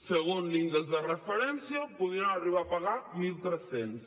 segons l’índex de referència podrien arribar a pagar mil tres cents